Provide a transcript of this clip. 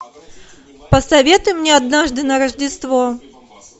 посоветуй мне однажды на рождество